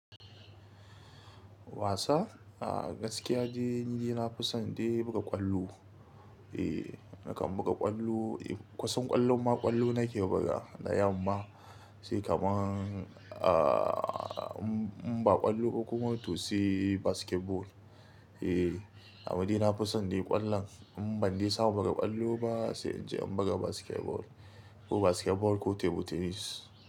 Wasa? A gaskiya dai ni dai na fi son dai buga ƙwallo. Eh nakan buga ƙwallo, kusan ƙwallo ma ƙwallo nake bugawa da yamma. Sai kamar a m-m-ba ƙwallo ba kuma to sai basketball. Eh, amade na fi son dai ƙwallon. In ban dai samu buga ƙwallo ba sai in je in buga basketball, ko basketball ko table tennis.